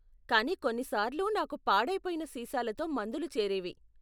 కానీ కొన్ని సార్లు నాకు పాడయిపోయిన సీసాలతో మందులు చేరేవి.